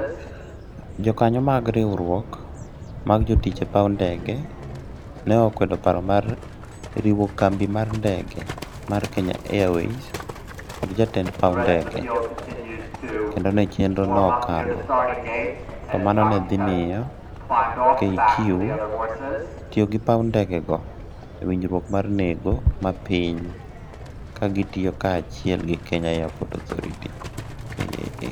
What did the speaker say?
Jokanyo mag riwruok mag jotich e paw ndege ne kwedo paro mar riwo kambi mar ndege mar Kenya Airways kod jatend paw ndege, kendo ka chenro no okalo, to mano ne dhi miyo KQ tiyo gi paw ndegego e winjruok mar nengo mapiny ka gitiyo kanyachiel gi Kenya Airports Authority (KAA)